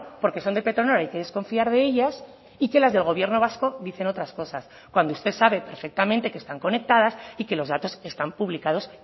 porque son de petronor hay que desconfiar de ellas y que las del gobierno vasco dicen otras cosas cuando usted sabe perfectamente que están conectadas y que los datos están publicados